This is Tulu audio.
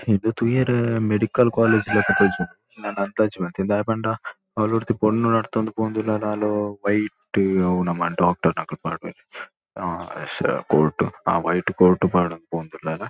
ತೂಯೆರೆ ಮೆಡಿಕಲ್ ಕಾಲೇಜ್ ಲೆಕ ತೋಜುಂಡು ಯಾನ್ ಅಂದಾಜಿ ಮಲ್ತಿನಿ ದಾಯೆ ಪಂಡ ಅವ್ಲು ಒರ್ತಿ ಪೊಣ್ಣು ನಡತೊಂದು ಪೋವೊಂದುಲ್ಲಲ್ ಆಲ್ ವೈಟ್ ನಮ್ಮ ಡಾಕ್ಟರ್ ನಕುಲು ಪಾಡ್ವೆರ್ ಆ ಕೋಟ್ ಆ ವೈಟ್ ಕೋಟ್ ಪಾಡೊಂದು ಪೋವೊಂದುಲ್ಲಲ್.